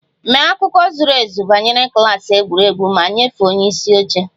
Mee akụkọ zuru ezu banyere klas egwuregwu ma nyefee onye isi oche!